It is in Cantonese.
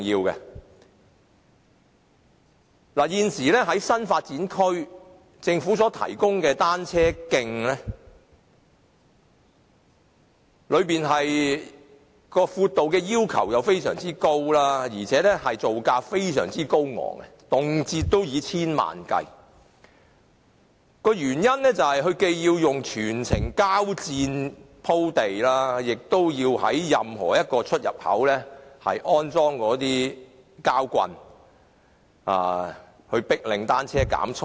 現時政府在新發展區提供的單車徑，其闊度要求非常高，造價更非常高昂，動輒以千萬元計算，原因是既要全部以膠墊鋪地，亦要在任何一個出入口安裝膠棒，迫令單車減速。